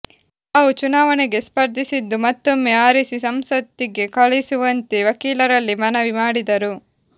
ತಾವು ಚುನಾವಣೆಗೆ ಸ್ಪರ್ಧಿಸಿದ್ದು ಮತ್ತೊಮ್ಮೆ ಆರಿಸಿ ಸಂಸತ್ತಿಗೆ ಕಳಿಸುವಂತೆ ವಕೀಲರಲ್ಲಿ ಮನವಿ ಮಾಡಿದರು